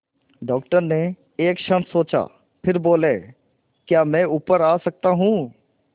doctor ने एक क्षण सोचा फिर बोले क्या मैं ऊपर आ सकता हूँ